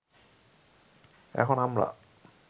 এখন আমরা